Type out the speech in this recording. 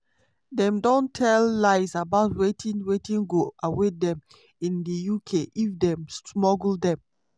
dem don tell lies about wetin wetin go await dem in di uk if dem smuggle dem".